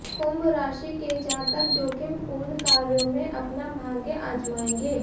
कुंभ राशि के जातक जोखिम पूर्ण कार्यों में अपना भाग्य आजमाएंगे